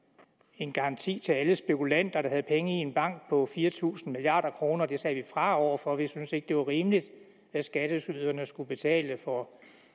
en garanti til alle spekulanter der havde penge i en bank på fire tusind milliard kroner det sagde vi fra over for vi syntes ikke at det var rimeligt at skatteyderne skulle betale for